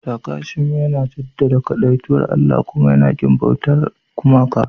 Sikhism yana jaddada kadaitakar Allah kuma yana ƙin bautar gumaka.